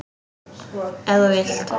Ef þú vilt.